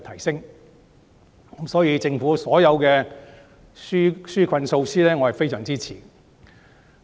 所以，對於政府所有的紓困措施，我是非常支持的。